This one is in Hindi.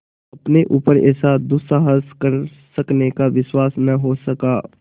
अपने ऊपर ऐसा दुस्साहस कर सकने का विश्वास न हो सका